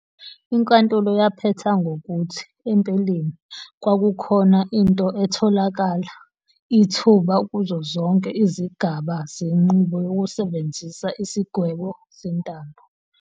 INkantolo yaphetha ngokuthi, empeleni, kwakukhona into etholakala ithuba kuzo zonke izigaba zenqubo yokusebenzisa isigwebo sentambo.